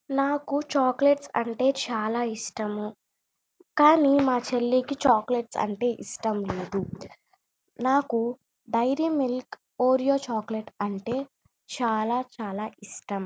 నాకు చాక్లేట్స్ అంటే చాలా ఇష్టము కానీ మా చెల్లికి చాక్లేట్స్ అంటే ఇష్టం లేదు నాకు డైరీ మిల్క్ ఒరియా అంటే చాల చాల ఇష్టం.